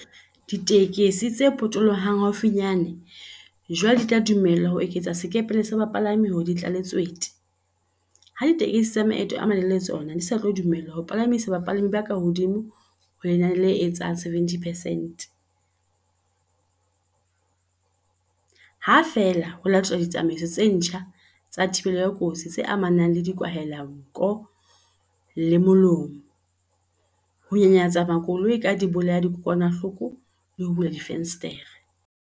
Ditekesi tse potolohang haufinyane jwale di tla dumellwa ho eketsa sekepele sa bapalami hore di tlale tswete, ha ditekesi tsa maeto a malelele tsona di sa tlo dumellwa ho palamisa bapalami ba kahodimo ho lenane le etsang 70 percent, ha feela ho latelwa ditsamaiso tse ntjha tsa thibelo ya kotsi tse amanang le dikwahelanko le molomo, ho nyanyatsa makoloi ka dibolayadikokwanahloko le ho bula difenstere.